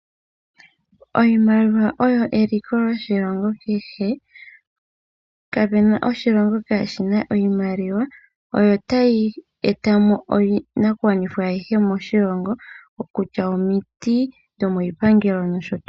Iimaliwa oyi eliko lyoshilongo kehe. Ka pena oshilongo ka shi na iimaliwa. Oyo tayi eta mo iinakugwanithwa ayihe moshilongo ngaashi omiti dhomiipangelo nosho tuu.